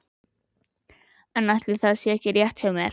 En ætli það sé ekki rétt hjá mér.